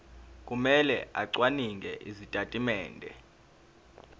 kumele acwaninge izitatimende